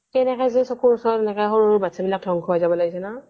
কেনেকৈ যে চকুৰ ওচৰত এনেকে সৰু সৰু বাতছা বিলাক ধ্বংস হব ওলাইছে ন'